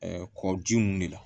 kɔji mun de la